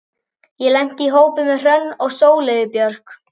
Ég lenti í hópi með Hrönn og Sóleyju Björk.